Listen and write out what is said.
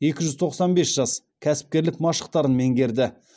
екі жүз тоқсан бес жас кәсіпкерлік машықтарын меңгерді